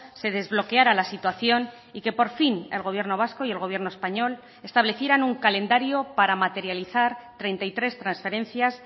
se desbloqueara la situación y que por fin el gobierno vasco y el gobierno español establecieran un calendario para materializar treinta y tres transferencias